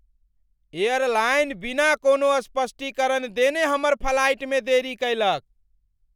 Airline बिना कोनो स्पष्टीकरण देने हमर फ्लाइटमे देरी कयलक।